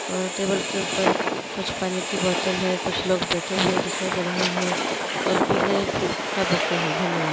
ओर table के ऊपर कुछ पानी की बोतल है कुछ लोग बैठे हुए दिखाए दे रहे है ओर पिले फूल का बुक्के है धन्यवाद।